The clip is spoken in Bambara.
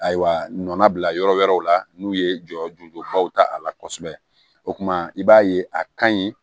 Ayiwa nɔnɔ bila yɔrɔ wɛrɛw la n'u ye jɔyɔrɔjonbaw ta a la kosɛbɛ o tuma i b'a ye a ka ɲi